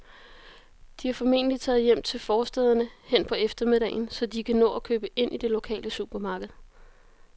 De er formentlig taget hjem til forstæderne hen på eftermiddagen, så de kan nå at købe ind i det lokale supermarked.